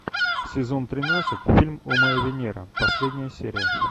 сезон тринадцать фильм о моя венера последняя серия